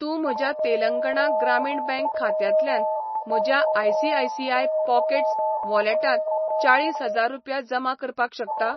तूं म्हज्या तेलंगणा ग्रामीण बँक खात्यांतल्यान म्हज्या आय.सी.आय.सी.आय पॉकेट्स वॉलेटांत चाळीस हजार रुपया जमा करपाक शकता?